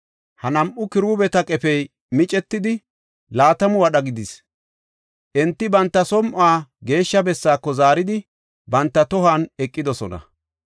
Ha nam7u kiruubeta qefey micetidi, laatamu wadha gidis; enti banta som7uwa Geeshsha bessaako zaaridi, banta tohon eqidosona.